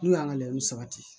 N'u y'an ka layini sabati